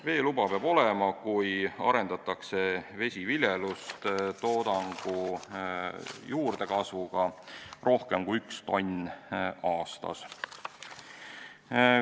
Veeluba peab olema, kui arendatakse vesiviljelust toodangu juurdekasvuga rohkem kui 1 tonn aastas.